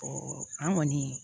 an kɔni